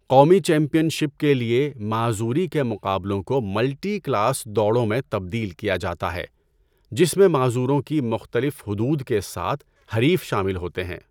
قومی championship کے لیے، معذوری کے مقابلوں کو 'ملٹی کلاس' دوڑوں میں تبدیل کیا جاتا ہے جس میں معذوروں کی مختلف حدود کے ساتھ حریف شامل ہوتے ہیں۔